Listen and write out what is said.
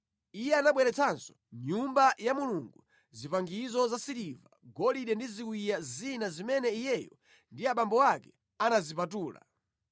Iye anabweretsanso mʼNyumba ya Mulungu zipangizo zasiliva, golide ndi ziwiya zina zimene iyeyo ndi abambo ake anazipatula.